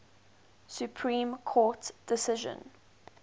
supreme court decision